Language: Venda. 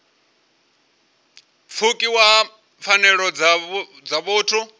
pfukiwa ha pfanelo dza vhuthu